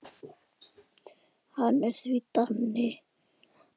Hann er því Dani.